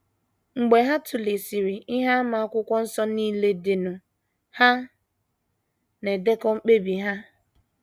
Mgbe ha tụlesịrị ihe àmà Akwụkwọ Nsọ nile dịnụ, ha na - edekọ mkpebi ha.